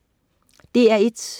DR1: